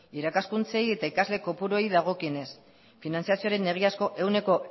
irakaskuntzei eta ikasle kopuruei dagokionez finantziazioaren egiazko